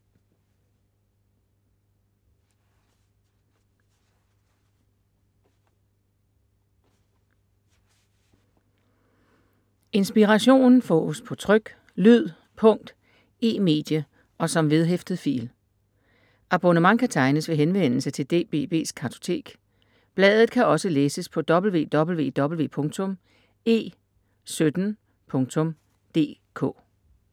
Inspiration fås på tryk, lyd, punkt, e-medie og som vedhæftet fil. Abonnement kan tegnes ved henvendelse til DBB’s Kartotek. Bladet kan også læses på www.e17.dk